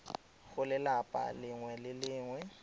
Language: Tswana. go lelapa lengwe le lengwe